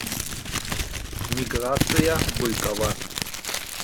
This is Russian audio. миграция быкова